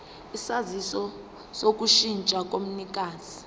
isaziso sokushintsha komnikazi